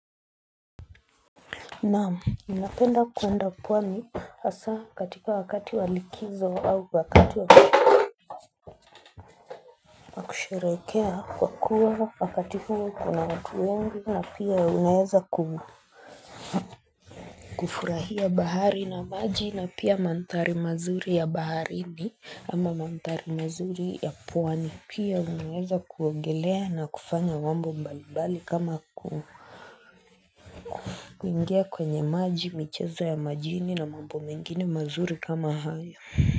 Naamu, unapenda kuwenda pwani hasa katika wakati walikizo au wakati wakati. Usharekea kwa kuwa wakati kuni kuna watu wengi na pia unayeza kuhu. Kufurahia bahari na maji na pia mantari mazuri ya baharini ama mantari mazuri ya pwani pia unayeza kuongelea na kufanya mambo mbalibali kama kuingia kwenye maji michezo ya majini na mambo mengine mazuri kama haya.